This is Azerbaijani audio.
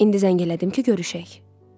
İndi zəng elədim ki, görüşək.